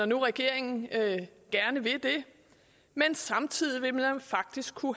nu regeringen gerne vil det men samtidig vil vi faktisk kunne